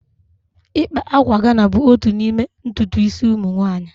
Ịkpa akwa Ghana bụ otu n'ime ntutu isi ụmụ nwanyị